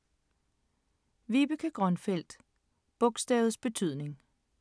Vibeke Grønfeldt: Bogstavets betydning